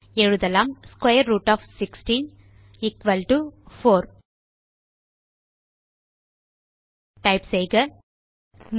எழுதலாம் square root of 16 4 type செய்க 3